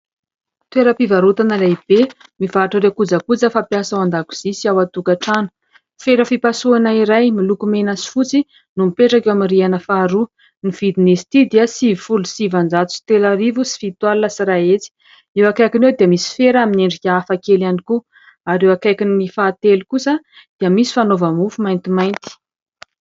Toeram-pivarotana lehibe mivarotra ireo kojakoja fampiasa ao an-dakozia sy ao an-tokantrano. Fera fipasohana iray miloko mena sy fotsy no mipetraka eo amin'ny rihana faharoa, ny vidin'izy ity dia sivifolo sy sivinjato sy telo arivo sy fito alina sy iray hetsy ; eo akaikiny eo dia misy fera amin'ny endrika hafakely ihany koa ary eo akaikiny fahatelo kosa dia misy fanaova-mofo maintimainty.